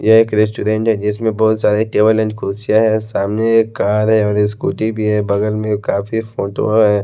ये एक रेस्टोरेंट है जिसमें बहुत सारे टेबल एंड कुर्सियाँ है सामने एक कार है और स्कूटी भी है बगल में काफी फोटो है।